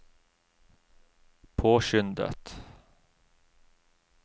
påskyndet